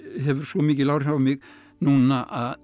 hefur svo mikil áhrif á mig núna að